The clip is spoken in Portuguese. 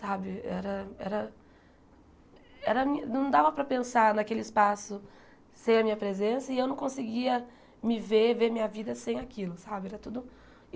Sabe era era era não dava para pensar naquele espaço sem a minha presença e eu não conseguia me ver, ver a minha vida sem aquilo sabe era tudo.